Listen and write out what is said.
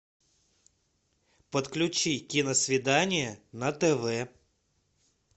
подключи киносвидание на тв